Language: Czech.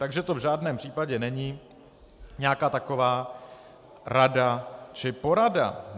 Takže to v žádném případě není nějaká taková rada či porada.